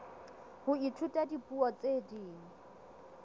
ho ithuta dipuo tse ding